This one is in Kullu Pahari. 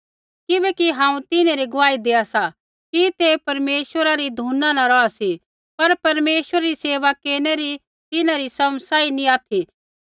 किबैकि हांऊँ तिन्हैं री गुआही देआ सा कि तै परमेश्वरा री धुना न रौहा सी पर परमेश्वरा री सेवा केरनै री तिन्हरी समझ सही नैंई सा